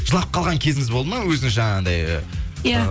жылап қалған кезіңіз болды ма өзіңіз жаңағындай иә